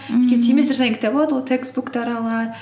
өйткені семестр сайын кітап алады ғой текстбуктар алады